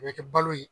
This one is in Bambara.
A bɛ kɛ balo ye